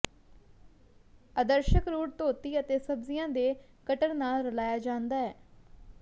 ਅਦਰਸ਼ਕ root ਧੋਤੀ ਅਤੇ ਸਬਜ਼ੀਆਂ ਦੇ ਕਟਰ ਨਾਲ ਰਲਾਇਆ ਜਾਂਦਾ ਹੈ